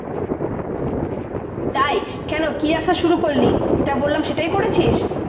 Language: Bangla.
তাই? কেন কি ব্যবসা শুরু করলি? যেটা বললাম সেটাই করেছিস?